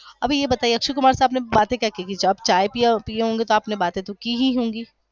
अभी ये बताये अक्षय कुमार से आपने बाते क्या की आपने चाय पई होगी तो आपने बाते तो कीही होगी